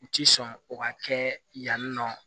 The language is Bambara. U ti sɔn o ka kɛ yanni nɔ